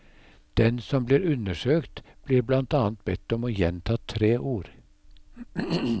Den som blir undersøkt blir blant annet bedt om å gjenta tre ord.